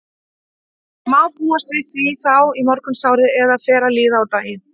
Má búast við því þá í morgunsárið eða þegar fer að líða á daginn?